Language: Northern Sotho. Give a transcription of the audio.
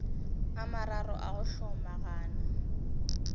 a mararo a go hlomagana